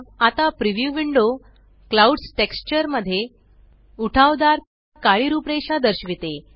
आता preview window clouds texture मध्ये उठावदार काळी रूपरेषा दर्शविते